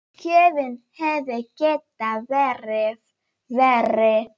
Gjöfin hefði getað verið verri.